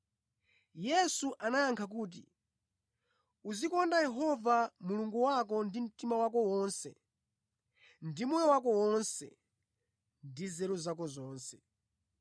Yesu anayankha kuti, “Uzikonda Yehova Mulungu wako ndi mtima wako wonse ndi moyo wako wonse ndi nzeru zako zonse.